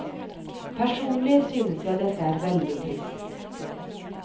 Personlig synes jeg dette er veldig trist.